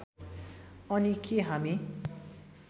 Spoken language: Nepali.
अनि के हामी